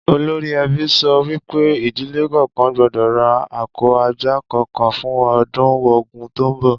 Olórí e̩bí so̩ wí pé ìdílè kò̩ò̩kan gbó̩dò̩ ra ako̩ ajá kò̩ò̩kan fún o̩dún Ògún tó ń bò